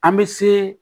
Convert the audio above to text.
An bɛ se